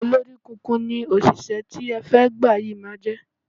Olóríkunkun ni òṣìṣẹ́ tí ẹ fẹ́ gbà yí máa jẹ́.